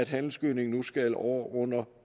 handelsgødning nu skal over under